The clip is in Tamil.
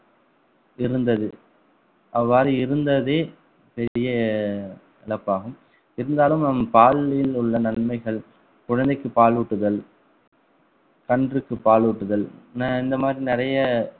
இருந்தது அவ்வாறு இருந்ததே பெரிய இழப்பாகும் இருந்தாலும் நம் பாலில் உள்ள நன்மைகள் குழந்தைக்கு பாலூட்டுதல் கன்றுக்கு பாலூட்டுதல் ந~ இந்த மாதிரி நிறைய